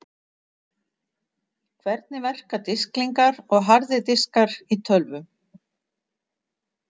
Hvernig verka disklingar og harðir diskar í tölvum?